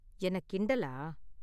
என்ன கிண்டலா?